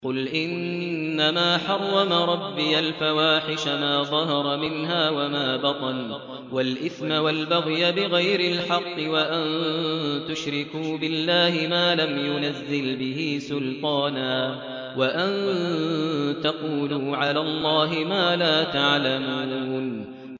قُلْ إِنَّمَا حَرَّمَ رَبِّيَ الْفَوَاحِشَ مَا ظَهَرَ مِنْهَا وَمَا بَطَنَ وَالْإِثْمَ وَالْبَغْيَ بِغَيْرِ الْحَقِّ وَأَن تُشْرِكُوا بِاللَّهِ مَا لَمْ يُنَزِّلْ بِهِ سُلْطَانًا وَأَن تَقُولُوا عَلَى اللَّهِ مَا لَا تَعْلَمُونَ